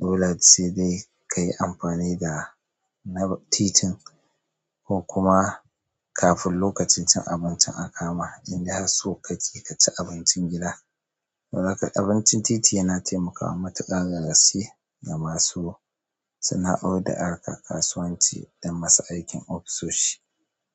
Dole sai dai kayi amfani da na titin ko kuma kafin lokacin cin abincin a kama idan har so ka ci ka ci abincin gida. Saboda haka abincin titi yana taimakawa matuƙan da gaske ga masu sana'o'in da harkan kasuwanci da masu aikin ofisoshi.